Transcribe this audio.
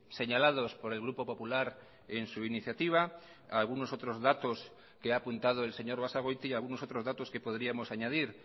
señalados por el grupo popular en su iniciativa algunos otros datos que ha apuntado el señor basagoiti y algunos otros datos que podríamos añadir